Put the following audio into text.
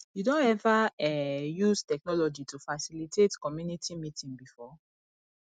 you don ever um use technology to facilitate community meeting before